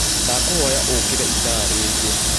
Ndakũhoya ũkĩre ĩthaa rĩngĩ